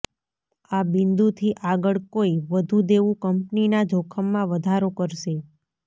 આ બિંદુથી આગળ કોઈ વધુ દેવું કંપનીના જોખમમાં વધારો કરશે